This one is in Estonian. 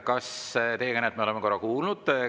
Rain Epler, teie kõnet me oleme korra kuulnud.